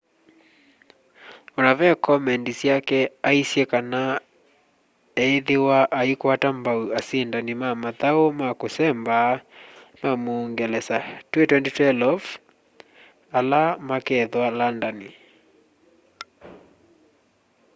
ona ve komendi syake aisye kana iethwa aikwata mbau asindani na mathau ma kusemba ma muungelesa twi 2012 ala makethwa landani